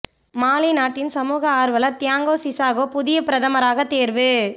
மாலி நாட்டின் சமூக ஆர்வலர் தியாங்கோ சிசாகோ புதிய பிரதமராக தேர்வு